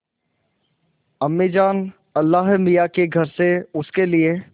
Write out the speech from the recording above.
अम्मीजान अल्लाहमियाँ के घर से उसके लिए